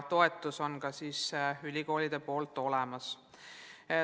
Meil on ka ülikoolide toetus olemas.